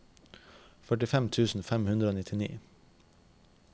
førtifem tusen fem hundre og nittini